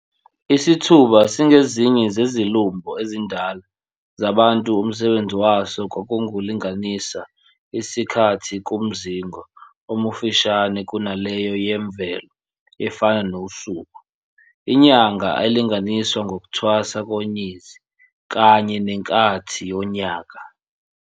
Isithuba singezinyeni zezilumbho ezindala zabantu omsebenzi waso kwakungukulinganisa isikhathi kumzingo omufishane kunaleyo yemvelo efana nosuku, inyanga elinganiswa ngokthwasa konyezi kanye neNkathi yonyaka.